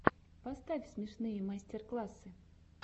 поставь смешные мастер классы